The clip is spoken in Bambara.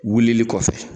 Wulili kɔfɛ